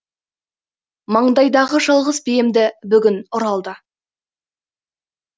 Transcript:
маңдайдағы жалғыз биемді бүгін ұры алды